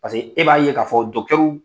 Paseke e b'a ye k'a fɔ dɔkitɛriw